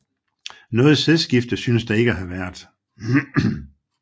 Noget sædskifte synes der ikke at have været